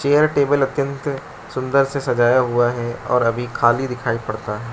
यह टेबल अत्यंत सुंदर से सजाया हुआ है और अभी खाली दिखाई पड़ता है।